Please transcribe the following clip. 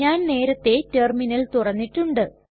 ഞാൻ നേരത്തെ ടെർമിനൽ തുറന്നിട്ടുണ്ട്